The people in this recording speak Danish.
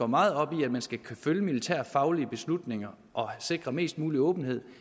meget op i at man skal kunne følge militærfaglige beslutninger og sikre mest mulig åbenhed